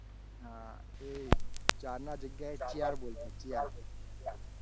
હા એ જે ચાર ના જગ્યા એ ચીયર બોલતી ચીયર